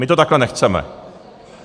My to takhle nechceme.